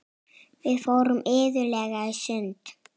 Við fórum iðulega í sund.